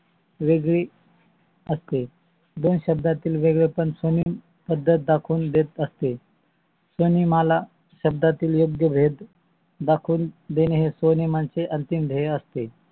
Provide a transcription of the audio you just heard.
वेगवेगळी असते. दोन शब्दातील वेगळे पण स्वनेम पद्धत दाखवून देत असते. स्वनेमाला शब्दातील योग्य भेद दाकवून देणे हे स्व्नियामांचे अंतिम ध्येय असते.